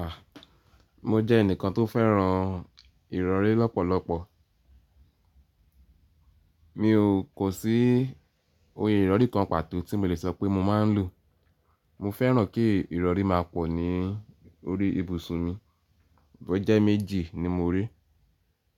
A! Mo jẹ́ ẹnìkan tó fẹ́ràn ìrọ̀rí lọ́pọ̀lọpọ̀. Mi ò kó sí ìrọ̀rí kan pàtó tí mo lè sọ pé mo máa ń lò. Mo fẹ́ràn kí ìrọ̀rí máa pọ̀ ní orí ibùsùn mi. Bó jẹ́ méjì ni mo rí,